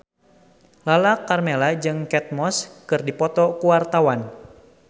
Lala Karmela jeung Kate Moss keur dipoto ku wartawan